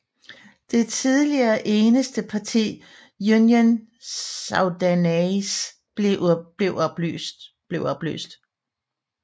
Det tidligere eneste parti Union Soudanaise blev opløst